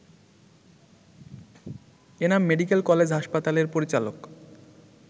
Enam medical college হাসপাতালের পরিচালক